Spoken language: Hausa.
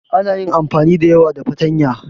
Ana yin amfani da yawa da fatanya.